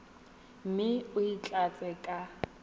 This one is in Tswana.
mme o e tlatse ka